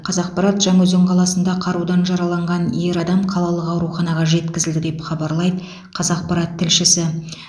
қазақпарат жаңаөзен қаласында қарудан жараланған ер адам қалалық ауруханаға жеткізілді деп хабарлайды қазақпарат тілшісі